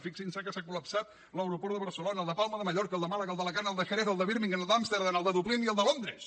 fixin se que s’ha col·lapsat l’aeroport de barcelona el de palma de mallorca el de màlaga el d’alacant el de jerez el de birmingham el d’amsterdam el de dublín i el de londres